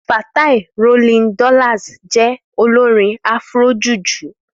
Fatai Rolling Dollars je olorin Afrojuju.